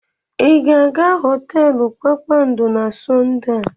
Ị ga-aga họteelu kpakpando na Sọnde a?